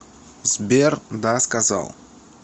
сбер да сказал